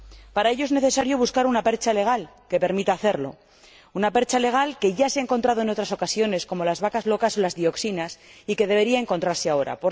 Para ello, es necesario buscar una percha legal que permita hacerlo, una percha legal que ya se ha encontrado en otras ocasiones, como en los episodios de las vacas locas o las dioxinas, y que debería encontrarse ahora.